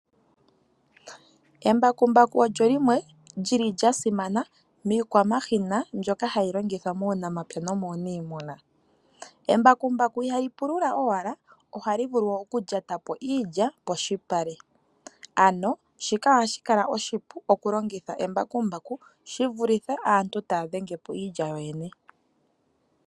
Embakumbaku olyo limwe lyili lya simana miikwamashina mbyoka hayi longithwa muunamapya nomuunimuna. Embakumbaku ihali pulula owala, ohali vulu okulyatapo iilya polupale. Ano shika ohashi kala oshipu okulongitha embakumbaku, shi vulithe aantu taya dhengepo iilya yooyene.